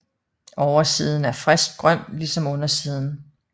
Oversiden er friskt grøn ligesom undersiden